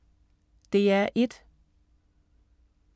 DR1